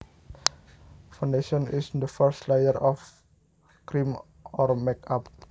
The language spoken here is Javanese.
Foundation is the first layer of cream or makeup